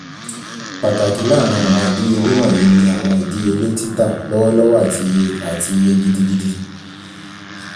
pataki laarin awọn idiyele wọnyi ni awọn idiyele tita lọwọlọwọ ati iye ati iye gidi gidi